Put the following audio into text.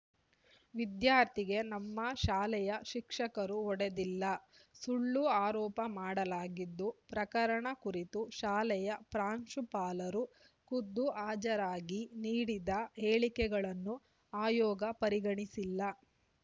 ವಿದ್ಯಾರ್ಥಿಗೆ ನಮ್ಮ ಶಾಲೆಯ ಶಿಕ್ಷಕರು ಹೊಡೆದಿಲ್ಲ ಸುಳ್ಳು ಆರೋಪ ಮಾಡಲಾಗಿದ್ದು ಪ್ರಕರಣ ಕುರಿತು ಶಾಲೆಯ ಪ್ರಾಂಶುಪಾಲರು ಖುದ್ದು ಹಾಜರಾಗಿ ನೀಡಿದ ಹೇಳಿಕೆಗಳನ್ನು ಆಯೋಗ ಪರಿಗಣಿಸಿಲ್ಲ